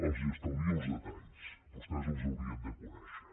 els estalvio els detalls vostès els haurien de conèixer